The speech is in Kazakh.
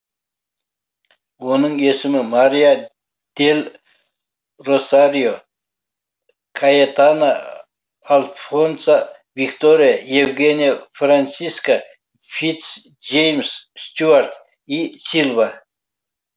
оның есімі мария дель росарио каэтана альфонса виктория евгения франциска фитц джеймс стюарт и сильва